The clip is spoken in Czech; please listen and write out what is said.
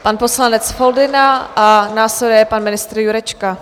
Pan poslanec Foldyna a následuje pan ministr Jurečka.